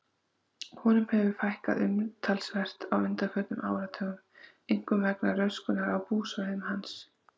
Honum hefur fækkað umtalsvert á undanförnum áratugum, einkum vegna röskunar á búsvæðum hans.